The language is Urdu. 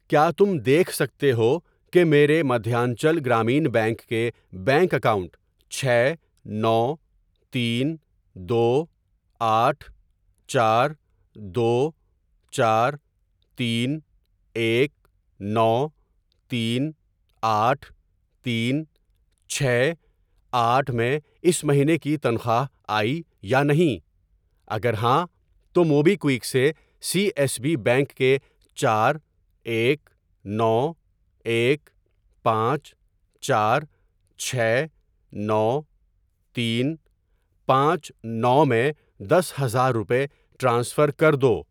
کیا تم دیکھ سکتے ہو کہ میرے مدھیانچل گرامین بینک کے بینک اکاؤنٹ چھ نو تین دو آٹھ چار دو چارتین ایک نو تین آٹھ تین چھ آٹھ میں اس مہینے کی تنخواہ آئی یا نہیں؟ اگر ہاں تو موبی کوِیک سے سی ایس بی بینک کےچار ایک نو ایک پانچ چار چھ نو تین پانچ نو میں دس ہزار روپے ٹرانسفر کر دو۔